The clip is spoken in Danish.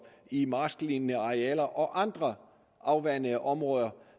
i marsklignende arealer og andre afvandede områder